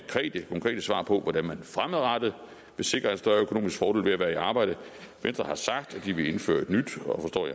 konkrete svar på hvordan man fremadrettet vil sikre en større økonomisk fordel ved at være i arbejde venstre har sagt at de vil indføre et nyt